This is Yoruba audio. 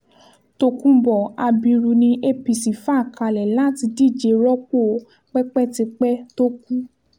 tokunbo abiru ni apc fà kalẹ̀ láti díje rọ́pò pẹ́pẹ́típẹ́ tó kù